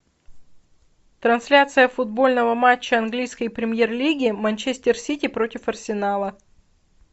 трансляция футбольного матча английской премьер лиги манчестер сити против арсенала